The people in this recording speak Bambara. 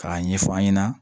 K'a ɲɛfɔ an ɲɛna